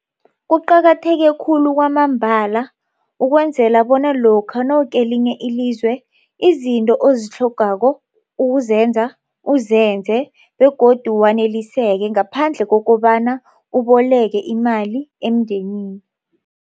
Kuqakatheke khulu kwamambala ukwenzela bona lokha nawukelinye ilizwe izinto ozitlhogako ukuzenza uzenze begodu waneliseke ngaphandle kokobana uboleke imali emndenini.